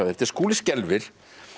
þetta er Skúli skelfir